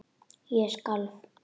Ég skalf.